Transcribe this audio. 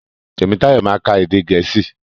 Tèmítáyọ̀ ma ka èdè gèésì.